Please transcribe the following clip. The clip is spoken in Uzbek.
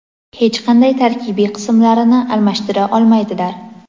hech qanday tarkibiy qismlarini almashtira olmaydilar.